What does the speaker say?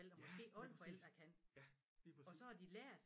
Ja lige præcis ja lige præcis